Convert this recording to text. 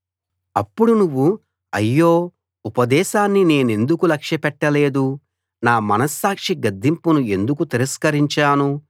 అప్పుడు నువ్వు అయ్యో ఉపదేశాన్ని నేనెందుకు లక్ష్యపెట్టలేదు నా మనస్సాక్షి గద్దింపును ఎందుకు తిరస్కరించాను